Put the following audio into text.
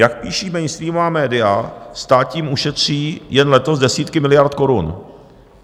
Jak píší mainstreamová média, stát tím ušetří jen letos desítky miliard korun.